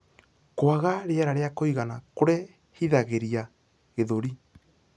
Kwaga rĩera rĩa kuigana kurehithagirĩa gĩthũri